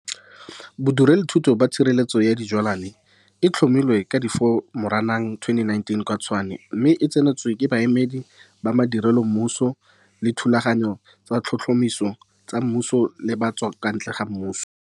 Bodirelothuto ba Tshireletso ya Dijwalwae ne e tlhomilwe ka 4 Moranang 2019 kwa Tshwane mme e tsenwe ke baemedi ba madirelo, mmuso, bolaodi, le dithulaganyo tsa tlhotlhomiso tsa mmuso le tsa ba kwa ntle ga mmuso.